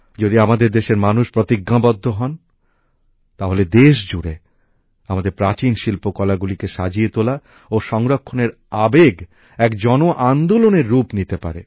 যদি আমাদের দেশের মানুষ প্রতিজ্ঞাবদ্ধ হন তাহলে দেশজুড়ে আমাদের প্রাচীন শিল্পকলাগুলিকে সাজিয়ে তোলা ও সংরক্ষণের আবেগ এক জনআন্দোলনের রূপ নিতে পারে